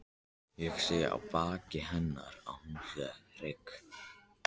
Ég sé á baki hennar að hún er hrygg.